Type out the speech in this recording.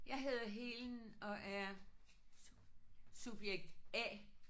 Jeg hedder Helen og er subjekt A